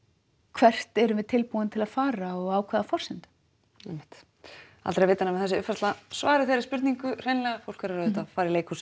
hvert erum við tilbúin að fara og á hvaða forsendum einmitt aldrei að vita nema þessi uppfærsla svari þessari spurningu hreinlega fólk verður að fara í leikhús